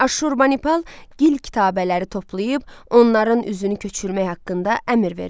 Aşşurbanipal gil kitabələri toplayıb onların üzünü köçürmək haqqında əmr verir.